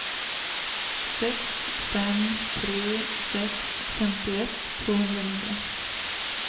sex fem tre sex femtioett tvåhundranio